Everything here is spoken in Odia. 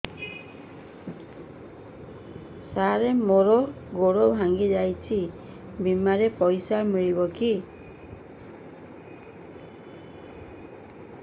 ସାର ମର ଗୋଡ ଭଙ୍ଗି ଯାଇ ଛି ବିମାରେ ପଇସା ମିଳିବ କି